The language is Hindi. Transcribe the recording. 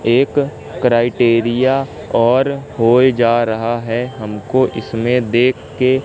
एक क्राइटेरिया और होए जा रहा है हमको इसमें देखके--